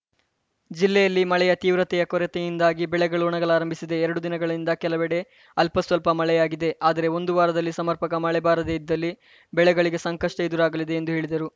ಜಿಲ್ಲೆಯಲ್ಲಿ ಮಳೆಯ ತೀವ್ರತೆಯ ಕೊರತೆಯಿಂದಾಗಿ ಬೆಳೆಗಳು ಒಣಗಲಾರಂಬಿಸಿದೆ ಎರಡು ದಿನಗಳಿಂದ ಕೆಲವೆಡೆ ಅಲ್ಪಸ್ವಲ್ಪ ಮಳೆಯಾಗಿದೆ ಆದರೆ ಒಂದು ವಾರದಲ್ಲಿ ಸಮರ್ಪಕ ಮಳೆ ಬಾರದೇ ಇದ್ದಲ್ಲಿ ಬೆಳೆಗಳಿಗೆ ಸಂಕಷ್ಟಎದುರಾಗಲಿದೆ ಎಂದು ಹೇಳಿದರು